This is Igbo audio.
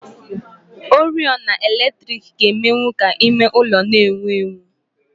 Oriọna eletrik ga-emenwụ ka ime ụlọ n'enwu enwu